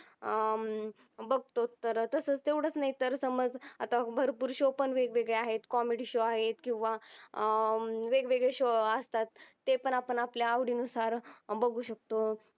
बगतो तर तसच तेवढच नाही तर समझ अत्ता भरपूर शो पण वेग वेगळी आहेत. कॉमेडी शो पण आहेत किव्हा आह वेग वेगळी शो अस्तात. ते पण आपण आपल्या आवडी अनुसार बागू शकतो.